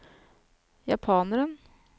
japaneren